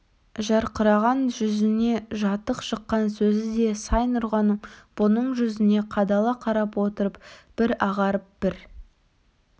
жарқыраған жүзіне жатық шыққан сөзі де сай нұрғаным бұның жүзіне қадала қарап отырып бір ағарып бір